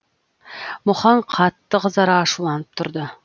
мұхаң қатты қызара ашуланып тұрды